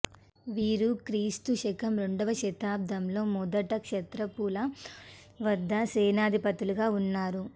వీరు క్రీస్తు శకం రెండవ శతాబ్దంలో మొదట క్షాత్రపుల వద్ద సేనాధిపతులుగా ఉన్నారు